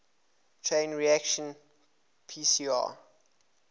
chain reaction pcr